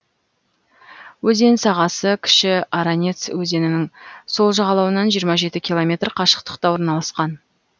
өзен сағасы кіші аранец өзенінің сол жағалауынан жиырма жеті километр қашықтықта орналасқан